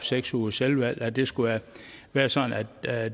seks ugers selvvalgt kursus det skal være være sådan at